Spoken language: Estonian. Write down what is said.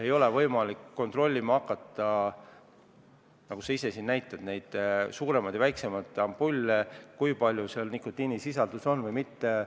Ei ole võimalik kontrollima hakata – nagu sa ise siin näitasid neid suuremaid ja väiksemaid ampulle –, kui palju need nikotiini sisaldavad või ei sisalda.